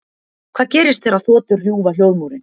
Hvað gerist þegar þotur rjúfa hljóðmúrinn?